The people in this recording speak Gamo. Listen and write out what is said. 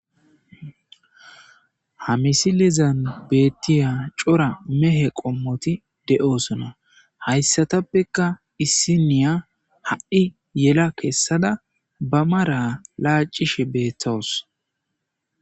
Ha missileza bolan betiyay c'ora qomoti de'osona haysatapeka issiniya ha'i yela kesada ba mara lac'ishe betawus.